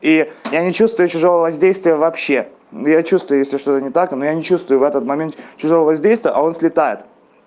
и я не чувствую чужого воздействия вообще я чувствую если что не так но я не чувствую в этот момент чужого воздействия а он слетает